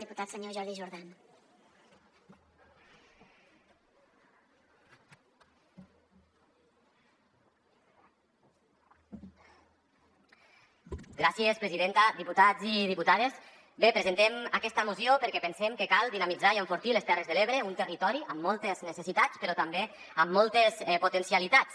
diputats i diputades bé presentem aquesta moció perquè pensem que cal dinamitzar i enfortir les terres de l’ebre un territori amb moltes ne·cessitats però també amb moltes potencialitats